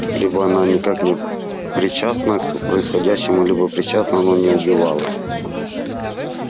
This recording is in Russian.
либо она никак не причастна к происходящему либо причастна но не убивала